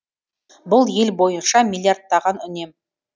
бұл ел бойынша миллиардтаған үнем